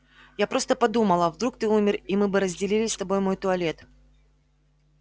я просто подумала вдруг ты умер и мы бы разделили с тобой мой туалет